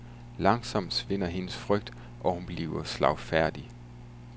Langsomt svinder hendes frygt, og hun bliver slagfærdig.